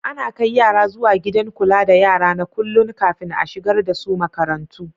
Ana kai yara zuwa Gidan kula da yara na kullun, kafin a shigar da su makarantu.